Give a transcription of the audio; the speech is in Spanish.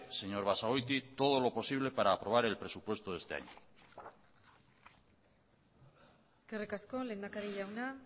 señor basagoiti todo lo posible para aprobar el presupuesto de este año eskerrik asko lehendakari jauna